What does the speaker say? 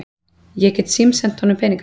Ég get símsent honum peninga.